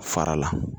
Fara la